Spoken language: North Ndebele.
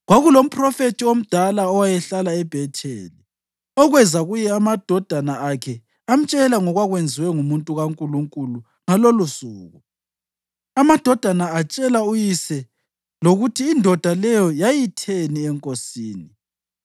Kwakulomphrofethi omdala owayehlala eBhetheli, okweza kuye amadodana akhe amtshela ngokwakwenziwe ngumuntu kaNkulunkulu ngalolosuku. Amadodana atshela uyise lokuthi indoda leyo yayitheni enkosini.